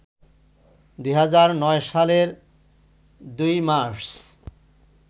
২০০৯ সালের ২ মার্চ